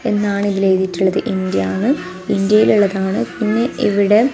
എന്നാണ് ഇതിലെഴുതിയിട്ടുള്ളത് ഇന്ത്യാന്ന് ഇന്ത്യയിലുള്ളതാണ് പിന്നെ ഇവിടെ--